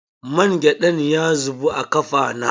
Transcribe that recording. Mangyaɗan ya zubu a kafa na.